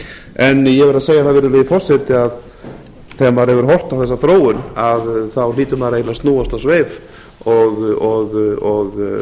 en ég verð að segja það virðulegi forseti að þegar maður hefur horft á þessa þróun þá hlýtur maður eiginlega að snúast á sveif og